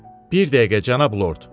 Bir dəqiqə, cənab Lord.